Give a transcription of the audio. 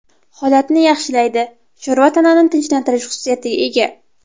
Holatni yaxshilaydi Sho‘rva tanani tinchlantirish xususiyatiga ega.